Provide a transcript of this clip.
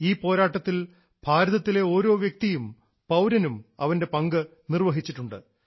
ഈ പോരാട്ടത്തിൽ ഭാരതത്തിലെ ഓരോ വ്യക്തിയും പൌരനും അവൻറെ പങ്ക് നിർവ്വഹിച്ചിട്ടുണ്ട്